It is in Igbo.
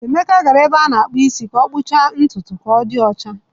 Emeka gara ebe a na-akpụ isi ka ọ kpụchaa ntutu ka Odi ochaa.